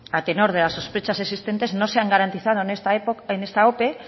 a tenor de las sospechas existentes no se han garantizado en esta ope